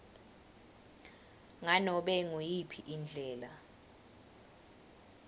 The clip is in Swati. nganobe nguyiphi indlela